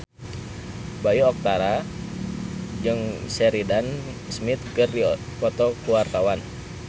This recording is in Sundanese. Bayu Octara jeung Sheridan Smith keur dipoto ku wartawan